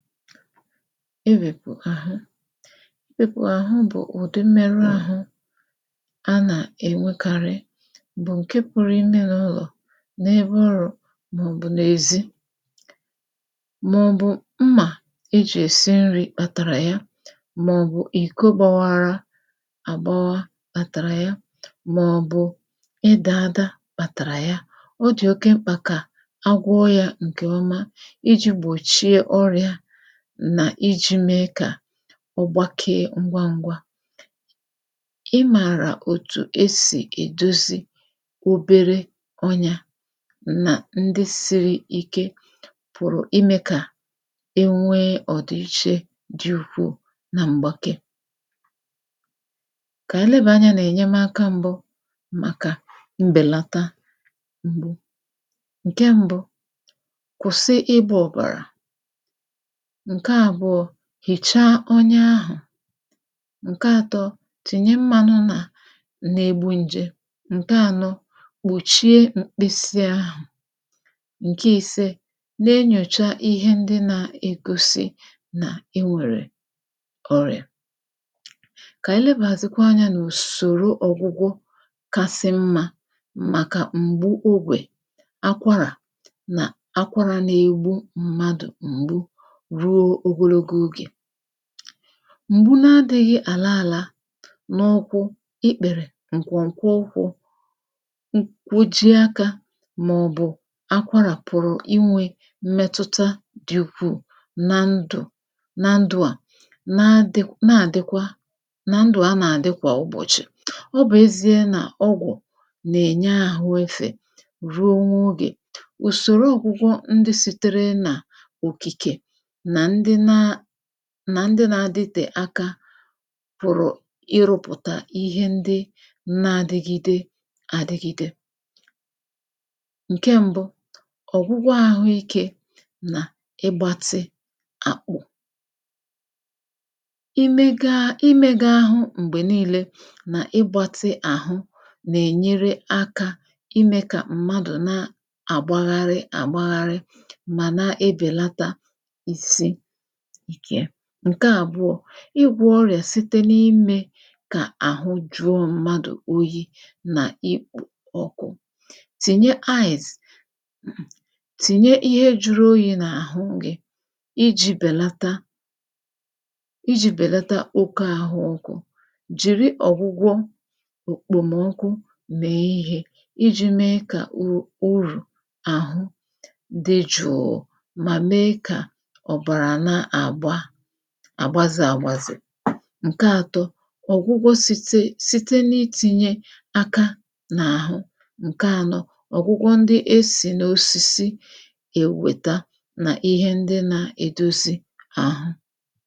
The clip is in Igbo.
imēpụ̀ àhụ imēpụ̀ àhụ bụ̀ ụ̀dị mmerụ āhụ̄ a nà-ènwekarị bụ̀ ǹke pụ̀rụ̀ imē n’ụlọ̀ n’ebe ọrụ̄ màọ̀bụ̀ n’èzi màọ̀bụ̀ mmà ejì esì nrī kpàtàrà ya, màọ̀bụ̀ ìko gbawara àgbawa kpàtàrà ya màọ̀bụ̀ ịdà ada kpàtàrà ya, ọ dị̀ oke mkpà kà agwọọ hā ǹkè ọma ijī gbòchie ọrị̄ā nà ijī mee kà ọ gbakee ngwa n̄gwā ị mààrà òtù esì èdozi obere ọnyā nà ndị sīrī ike pụ̀rụ̀ imē kà e nwee ọ̀dị̀che dị ukwuù na mgbake kà ànyị lebàa anyā n’ènyemaka m̄bụ màkà mbèlata m̄gbu ǹke m̄bụ̄; kwụ̀sị ịgbā ọ̀bàrà ǹke àbụọ̄; hìchaa ọnya ahụ̀ ǹke ātọ̄; tìnye mmānụ nà na-egbu n̄je, ǹke ānọ̄; kpòchie mkpịsịāhụ ǹke īsē; na-enyòcha ihe ndị na-egosi nà i nwèrè ọrị̀à kà ànyị lebàzịkwa anyā n’ùsòro ọgwụgwọ kasị mmā màkà m̀gbu ogwè akwarà nà akwarā na-egbu mmadụ̀ m̀gbu ruo ogologo ogè m̀gbu na-adịghị̄ àla āla n’ụkwụ, ikpèrè, ǹkwọ̀ǹkwọ ụkwụ̄ nkuji akā màọ̀bụ̀ akwarà pụ̀rụ̀ inwē mmetụta dị̄ ukwuù na ndụ̀ na ndụ̄ à na-adị na-àdịkwa na ndụ̀ a nà-àdị kwà ụbọ̀chị̀, ọ bụ̀ ezīa nà ọgwụ̀ nà-ènye àhụ efè ruo n’ogè ùsòro ọ̄gwụ ndị sitere n’òkìkè nà ndị na nà ndị na-aditè aka pụ̀rụ̀ ịrụ̄pụ̀tà ihe ndị na-adigide àdịgide ǹke m̄bụ̄; ọ̀gwụgwọ àhụikē nà ịgbātị àkpụ̀ ime gaa, imēga àhụ m̀gbè niīle nà ịgbātị àhụ nà-ènyere akā imē kà mmadụ̀ na-àgbagharị àgbagharị mà na-ebèlata isi ike, ǹke àbụọ̄; ịgwọ̄ ọrị̀à site n’imē kà àhụ juo mmadụ̀ oyī̄ nà ikpò ọkụ tìnye ice mm, tìnye ihe jūrū oyī n’àhụ gị̄ ijī bèlata ijī bèlata oke àhụ ọkụ̄ jìri ọ̀gwụgwọ òkpòmọkụ mèe ihē, ijī mee kà u urù àhụ dị jụ̀ụ̀ mà mee kà ọ̀bàrà na-àgba àgbazē àgbazè, ǹke ātọ̄; ọ̀gwụgwọ sītē, site n’itīnyē aka n’àhụ, ǹke ānọ̄; ọ̀gwụgwọ ndị esì n’osisi ewèta nà ihe ndị na-edozi àhụ